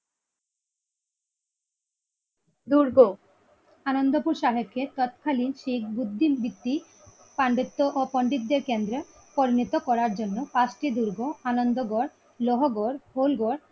আনন্দপুর সাহেবকে তৎখালী শেখ উদ্দিন বিত্তি পাণ্ডিত্য ও পন্ডিতদের কেন্দ্রে পরিণত করার জন্যেপাঁচটি দুর্গ আনন্দ গড় লহগড় হোলগড়।